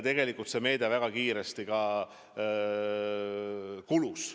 Tegelikult see meede väga kiiresti ka kulus.